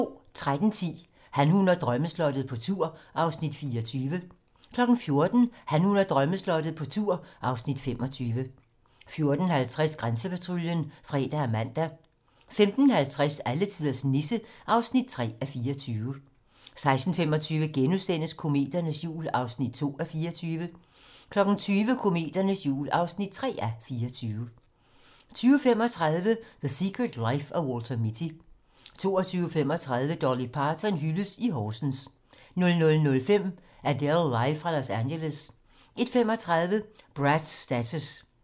13:10: Han, hun og drømmeslottet - på tur (Afs. 24) 14:00: Han, hun og drømmeslottet - på tur (Afs. 25) 14:50: Grænsepatruljen (fre og man) 15:50: Alletiders Nisse (3:24) 16:25: Kometernes jul (2:24)* 20:00: Kometernes jul (3:24) 20:35: The Secret Life of Walter Mitty 22:35: Dolly Parton hyldes i Horsens 00:05: Adele live fra Los Angeles 01:35: Brad's Status